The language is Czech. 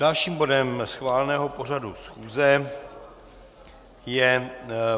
Dalším bodem schváleného pořadu schůze je